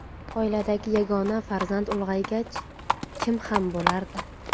Oiladagi yagona farzand ulg‘aygach kim ham bo‘lardi?